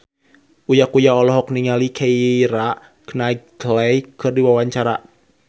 Uya Kuya olohok ningali Keira Knightley keur diwawancara